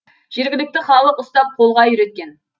жергілікті халық ұстап қолға үйреткен